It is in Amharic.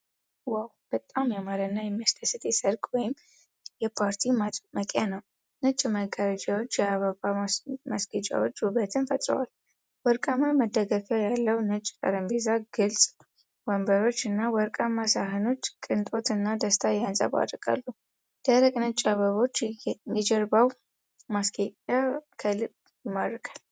ዋው! በጣም ያማረ እና የሚያስደስት የሠርግ ወይም የፓርቲ ማድመቂያ ነው። ነጭ መጋረጃዎችና የአበባ ማስጌጫዎች ውበትን ፈጥረዋል። ወርቃማ መደገፊያ ያለው ነጭ ጠረጴዛ፣ ግልጽ ወንበሮች እና ወርቃማ ሳህኖች ቅንጦት እና ደስታ ያንፀባርቃሉ። ደረቅ ነጭ አበቦች የጀርባው ማስጌጫ ከልብ ይማርካል።